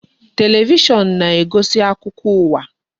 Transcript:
Television na-egosi akụkọ ụwa.